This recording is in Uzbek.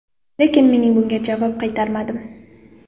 Lekin men bunga javob qaytarmadim.